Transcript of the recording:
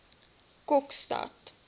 kokstad